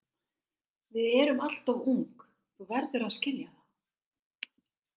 Við erum alltof ung, þú verður að skilja það.